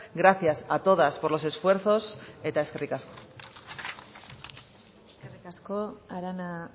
gracias a todas por los esfuerzos eta eskerrik asko eskerrik asko arana